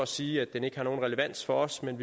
sige at den ikke har nogen relevans for os men